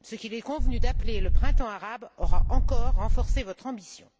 Ce qu'il est convenu d'appeler le printemps arabe aura encore renforcé votre ambition.